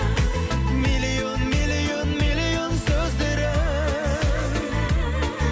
миллион миллион миллион сөздері